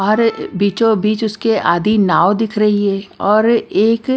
और बीचोंबीच उसके आधी नाव दिख रही है और एक--